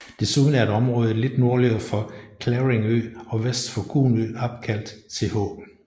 Desuden er et område lidt nordligere for Clavering ø og vest for Kuhn ø opkaldt Th